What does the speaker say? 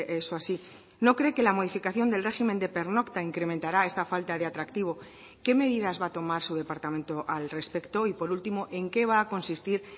eso así no cree que la modificación del régimen de pernocta incrementará esta falta de atractivo qué medidas va a tomar su departamento al respecto y por último en qué va a consistir